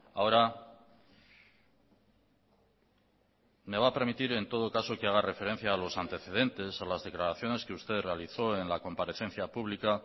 ahora me va a permitir en todo caso que haga referencia a los antecedentes a las declaraciones que usted realizó en la comparecencia pública